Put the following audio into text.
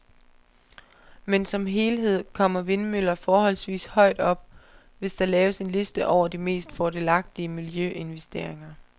Men som helhed kommer vindmøller forholdsvis højt op, hvis der laves en liste over de mest fordelagtige miljøinvesteringer.